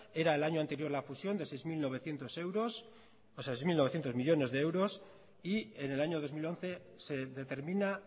era el año anterior a la fusión de seis mil novecientos millónes de euros y en el año dos mil once se determina